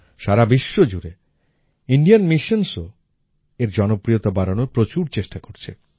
সারা বিশ্বজুড়ে ইন্ডিয়ান Missionsও এর জনপ্রিয়তা বাড়ানোর প্রচুর চেষ্টা করছে